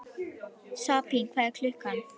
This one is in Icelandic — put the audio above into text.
Sabína, hvað er klukkan?